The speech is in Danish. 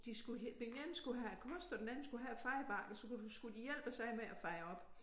De skulle den ene skulle have æ kost og den anden skulle have æ fejebakke og så kunne skulle de hjælpes ad med at feje op